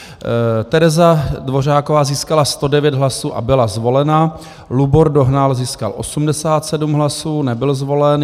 Tereza Dvořáková získala 109 hlasů a byla zvolena, Lubor Dohnal získal 87 hlasů, nebyl zvolen.